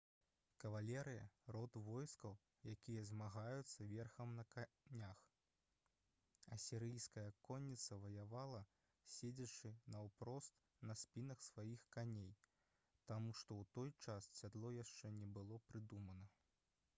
кавалерыя род войскаў якія змагаюцца верхам на конях асірыйская конніца ваявала седзячы наўпрост на спінах сваіх коней таму што ў той час сядло яшчэ не было прыдумана